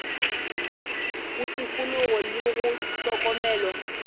go tikologo le go hlokomela